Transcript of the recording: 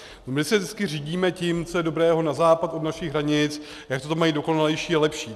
My se vždycky řídíme tím, co je dobré na západ od našich hranic, jak to tam mají dokonalejší a lepší.